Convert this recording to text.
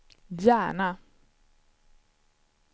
Järna